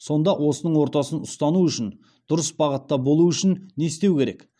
сонда осының ортасын ұстану үшін дұрыс бағытта болу үшін не істеу керек